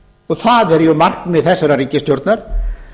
og það er markmið þessarar ríkisstjórnar